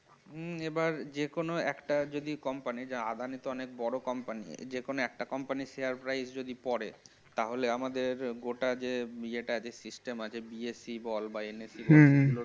উম এবার যেকোনো একটা যদি company আদানি তো অনেক বড় company যেকোনো একটা company share price যদি পড়ে তাহলে আমাদের গোটা যে ইয়েটা যে system আছে BSE বল বা NSE হম